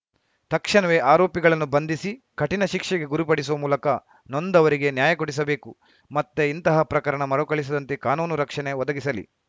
ತಕ್ಷಣವೇ ಆರೋಪಿಗಳನ್ನು ಬಂಧಿಸಿ ಕಠಿಣ ಶಿಕ್ಷೆಗೆ ಗುರಿಪಡಿಸುವ ಮೂಲಕ ನೊಂದವರಿಗೆ ನ್ಯಾಯ ಕೊಡಿಸಬೇಕು ಮತ್ತೆ ಇಂತಹ ಪ್ರಕರಣ ಮರುಕಳಿಸದಂತೆ ಕಾನೂನು ರಕ್ಷಣೆ ಒದಗಿಸಲಿ